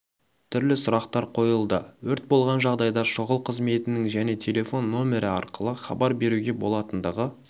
түрлі сұрақтар қойылды өрт болған жағдайда шұғыл қызметінің және телефон нөмірі арқылы хабар беруге болатындығы